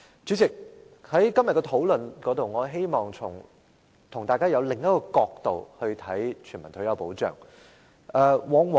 主席，在今天的討論中，我希望與大家從另一個角度來看全民退休保障。